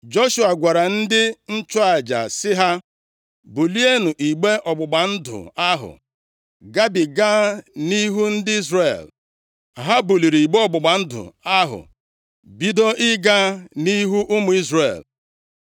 Joshua gwara ndị nchụaja sị ha, “Bulienụ igbe ọgbụgba ndụ ahụ, gabiga nʼihu ndị Izrel.” Ha buliri igbe ọgbụgba ndụ ahụ, bido ịga nʼihu ụmụ Izrel.